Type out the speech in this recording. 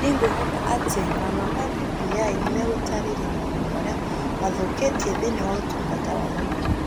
Nĩ ngwĩhoka atĩ marũa ma BBI nĩ megũtaarĩria maũndũ marĩa mathokĩtĩ thĩinĩ wa ũtungata wa mũingĩ.